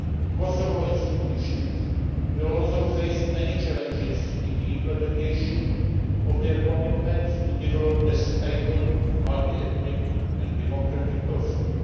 Kosovo institutions will also face many challenges in the implementation of their commitments to develop a stable multi ethnic and democratic Kosovo.